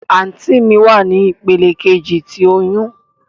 Anti mi wa ni ipele keji ti oyun.